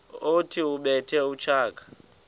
othi ubethe utshaka